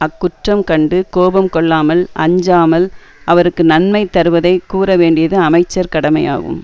அக்குற்றம் கண்டு கோபம் கொள்ளாமல் அஞ்சாமல் அவருக்கு நன்மை தருவதைக் கூற வேண்டியது அமைச்சர் கடமையாகும்